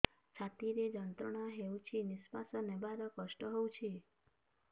ଛାତି ରେ ଯନ୍ତ୍ରଣା ହେଉଛି ନିଶ୍ଵାସ ନେବାର କଷ୍ଟ ହେଉଛି